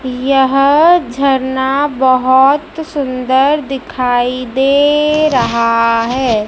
यह झरना बहुत सुंदर दिखाई दे रहा है।